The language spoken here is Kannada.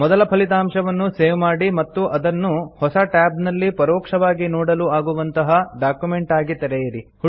ಮೊದಲ ಫಲಿತಾಂಶವನ್ನು ಸೇವ್ ಮಾಡಿ ಮತ್ತು ಅದನ್ನು ಹೊಸ ಟ್ಯಾಬ್ ನಲ್ಲಿ ಪರೋಕ್ಷವಾಗಿ ನೋಡಲು ಆಗುವಂತಹ ಡಾಕ್ಯುಮೆಂಟ್ ಆಗಿ ತೆಗೆಯಿರಿ